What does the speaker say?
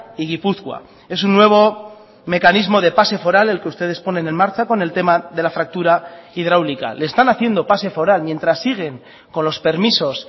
y gipuzkoa es un nuevo mecanismo de pase foral el que ustedes ponen en marcha con el tema de la fractura hidráulica le están haciendo pase foral mientras siguen con los permisos